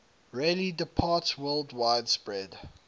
rarely departsworldwide spread